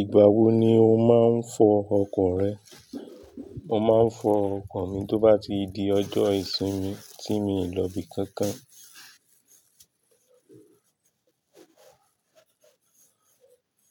Ìgbà wo ni o máa ń fọ ọkọ̀ rẹ? Mo máa ń fọ ọkọ̀ mi tó bá ti di ọjọ́ ìsinmi tí mi ò lọ ibi kankan.